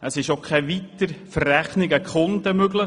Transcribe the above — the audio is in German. Auch sei keine Weiterverrechnung an die Kunden möglich.